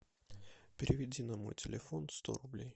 переведи на мой телефон сто рублей